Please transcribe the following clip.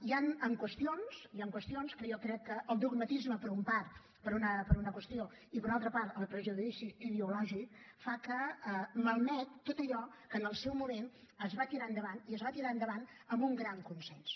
hi han qüestions que jo crec que el dogmatisme per una part per una qüestió i per una altra part el prejudici ideològic malmet tot allò que en el seu moment es va tirar endavant i es va tirar endavant amb un gran consens